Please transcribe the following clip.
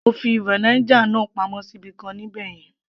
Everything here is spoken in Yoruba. mo fi vinegar náà pamọ́ sí ibìkan ní ibẹ̀yẹn